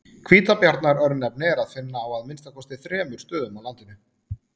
Hvítabjarnar-örnefni er að finna á að minnsta kosti þremur stöðum á landinu.